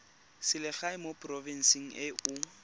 selegae mo porofenseng e o